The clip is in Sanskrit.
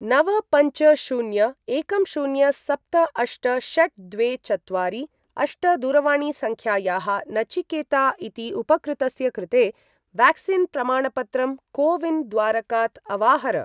नव पञ्च शून्य एकं शून्य सप्त अष्ट षट् द्वे चत्वारि अष्ट दूरवाणीसङ्ख्यायाः नचिकेता इति उपकृतस्य कृते व्याक्सीन् प्रमाणपत्रं को विन् द्वारकात् अवाहर।